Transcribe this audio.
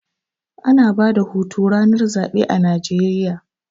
Ana bada hutu ranar zaɓe a Najeriya